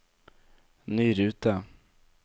ny rute